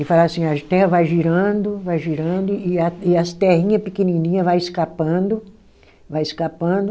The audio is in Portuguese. E fala assim, a Terra vai girando, vai girando, e a e as terrinha pequenininha vai escapando, vai escapando.